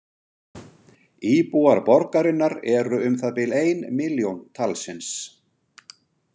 Íbúar borgarinnar eru um það bil ein milljón talsins.